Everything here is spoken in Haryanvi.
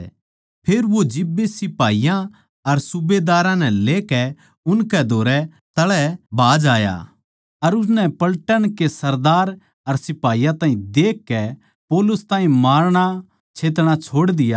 फेर वो जिब्बे सिपाहियाँ अर सूबेदारां नै लेकै उनकै धोरै तळै भाज आया अर उननै पलटन के सरदार अर सिपाहियाँ ताहीं देखकै पौलुस ताहीं मारणाछेतणा छोड़ दिया